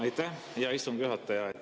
Aitäh, hea istungi juhataja!